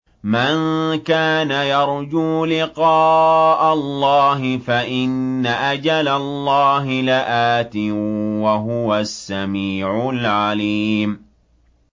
مَن كَانَ يَرْجُو لِقَاءَ اللَّهِ فَإِنَّ أَجَلَ اللَّهِ لَآتٍ ۚ وَهُوَ السَّمِيعُ الْعَلِيمُ